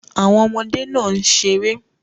Àwọn ọmọdé náà ń ṣeré